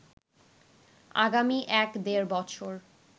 আগামী এক-দেড় বছর